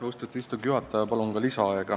Austatud istungi juhataja, palun ka lisaaega!